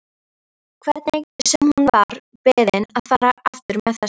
Hvernig sem hún var beðin að fara aftur með þessa